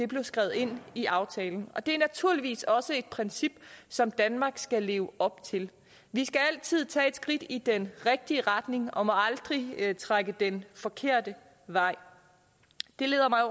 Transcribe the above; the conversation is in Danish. blev skrevet ind i aftalen og det er naturligvis også et princip som danmark skal leve op til vi skal altid tage et skridt i den rigtige retning og må aldrig trække den forkerte vej det leder mig